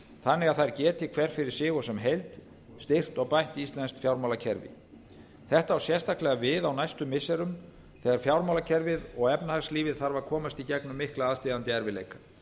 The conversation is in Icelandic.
þannig að þær geti hver fyrir sig og sem heild styrkt og bætt íslenskt fjármálakerfi þetta á sérstaklega við á næstu missirum þegar fjármálakerfið og efnahagslífið þarf að komast í gegnum mikla aðsteðjandi erfiðleika